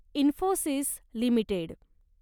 Infosys limited